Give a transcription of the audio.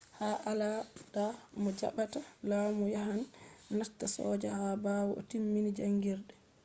ha alada mo jaɓɓata lamu yahan nasta soja ha ɓawo o timmin jaangirde